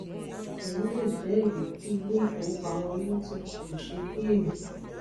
eyi lè jẹ ìdí tí ilé ifówopàmọ unity kò ṣe pín ère